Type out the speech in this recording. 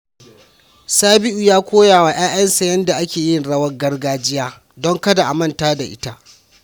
Sabiu ya koya wa ‘ya’yansa yanda ake yin rawar gargajiya don kada a manta da ita.